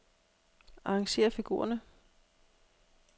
Arrangér figurerne.